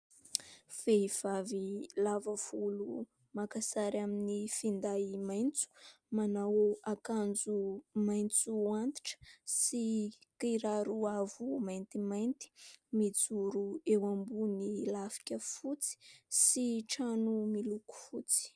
Vehivavy lava volo maka sary amin'ny finday maitso, manao akanjo maitso antitra sy kiraro avo maintimainty, mijoro eo ambony lafika fotsy sy trano miloko fotsy.